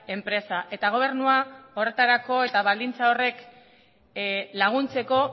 enpresa eta gobernua horretarako eta baldintza horrek laguntzeko